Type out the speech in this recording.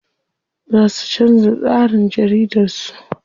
Za su canza tsarin jaridar su.